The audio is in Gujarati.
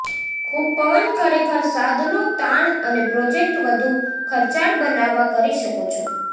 ખૂબ પવન ખરેખર સાધનો તાણ અને પ્રોજેક્ટ વધુ ખર્ચાળ બનાવવા કરી શકો છો